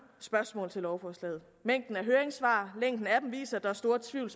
spørgsmål til lovforslaget mængden af høringssvar og længen af dem viser at der er stor tvivl